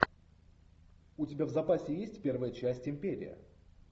у тебя в запасе есть первая часть империя